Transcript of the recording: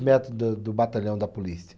Metros da do batalhão da polícia.